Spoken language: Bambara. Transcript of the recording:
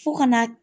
Fo kana